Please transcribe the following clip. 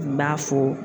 N b'a fɔ